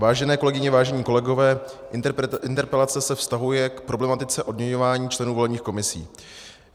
Vážené kolegyně, vážení kolegové, interpelace se vztahuje k problematice odměňování členů volebních komisí.